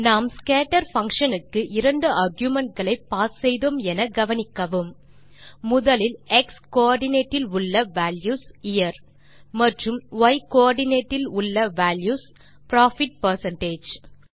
நாம் scatter function க்கு இரண்டு argumentகளை பாஸ் செய்தோம் என கவனிக்கவும் முதலில் x கோஆர்டினேட் இல் உள்ள வால்யூஸ் யியர் மற்றும் y கோஆர்டினேட் இல் உள்ள வால்யூஸ் தே புரோஃபிட் பெர்சென்டேஜ்